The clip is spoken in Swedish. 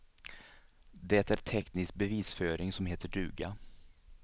Det är teknisk bevisföring, som heter duga.